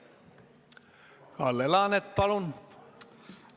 Kalle Laanet, palun!